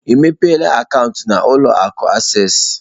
Ị mepela akaụntụ na ụlọ akụ acesịị?